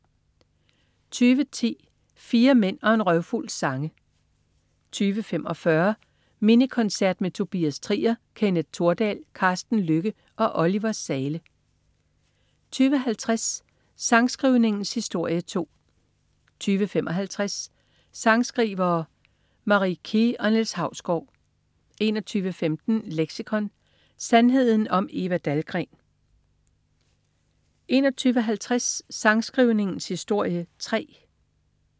20.10 Fire mænd og en røvfuld sange 20.45 Mini Koncert med Tobias Trier, Kenneth Thordal, Carsten Lykke og Oliver Zahle 20.50 Sangskrivningens historie 2 20.55 Sangskrivere: Marie Key og Niels Hausgaard 21.15 Leksikon. Sandheden om Eva Dahlgren 21.50 Sangskrivningens historie 3